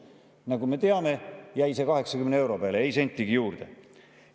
" Nagu me teame, jäi see 80 euro peale, ei sentigi juurde.